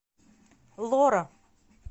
лора